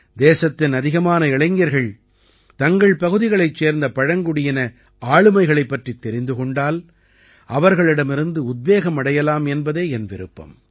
தேசத்தின் அதிகமான இளைஞர்கள் தங்கள் பகுதிகளைச் சேர்ந்த பழங்குடியின ஆளுமைகளைப் பற்றித் தெரிந்து கொண்டால் அவர்களிடமிருந்து உத்வேகம் அடையலாம் என்பதே என் விருப்பம்